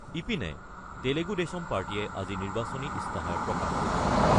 ইপিনে, তেলেগু দেশম পাৰ্টীয়ে আজি নিৰ্বাচনী ইস্তাহাৰ প্ৰকাশ কৰিছে।